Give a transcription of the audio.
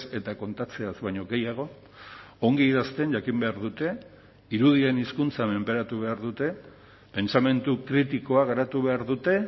eta kontatzeaz baino gehiago ongi idazten jakin behar dute irudien hizkuntza menperatu behar dute pentsamendu kritikoa garatu behar dute